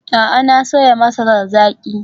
A'a, na soya masarar zaki.